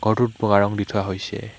ঘৰটোত বগা ৰং দি থোৱা হৈছে।